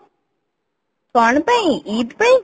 କଣ ପାଇଁ ଇଦ ପାଇଁ କି